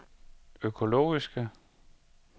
økologiske